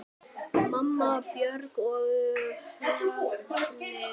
Mamma, Björk og Högni.